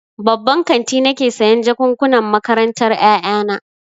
Babban kanti nake sayan jakukkunan makarantar ƴaƴana.